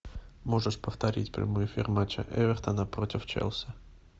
можешь повторить прямой эфир матча эвертона против челси